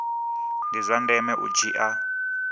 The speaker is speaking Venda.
ndi zwa ndeme u dzhia